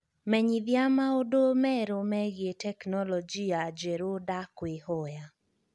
menyithia maūndū merū megie teknolojia njerū ndakūīhoya